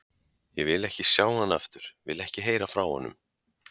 Ég vil ekki sjá hann aftur, vil ekki heyra frá honum.